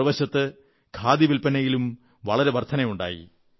മറുവശത്ത് ഖാദി വില്പനയിലും വളരെ വർധനവുണ്ടായി